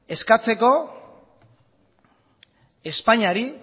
eskatzeko espainiari